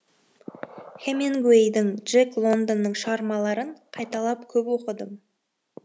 хэмингуейдің джек лондонның шығармаларын қайталап көп оқыдым